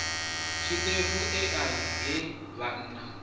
tshiṱefu ea i he vhanna